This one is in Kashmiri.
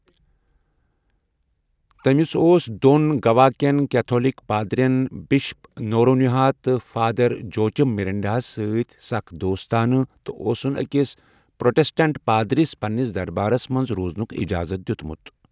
تٔمِس اوس دۄن گوا كٮ۪ن کیتھولک پادٕرین، بشپ نورونہا تہٕ فادرجوچِم مِرنڈاہس سۭتۍ سخ دوستانہٕ، تہٕ اوسن أکِس پروٹسٹنٹ پادرِس پنٛنس دربارس منٛز روزنک اِجازت دِیتمت ۔